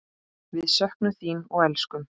Við söknum þín og elskum.